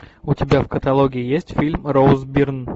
у тебя в каталоге есть фильм роуз бирн